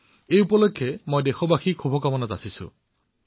মই এই উপলক্ষে সকলো দেশবাসীক শুভকামনা জনাইছো